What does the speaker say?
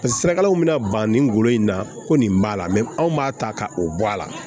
Sirakalaw bɛna ban nin golo in na ko nin b'a la anw b'a ta ka o bɔ a la